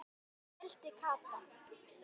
vældi Kata.